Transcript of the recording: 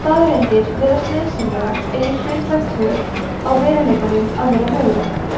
staðreyndir virðast nauðsynlegar eigi hlutlæg tök á veruleikanum að vera möguleg